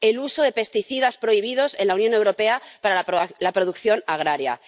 el uso de plaguicidas prohibidos en la Unión Europea para la producción agraria.